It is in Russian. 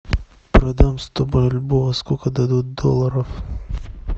продам сто бальбоа сколько дадут долларов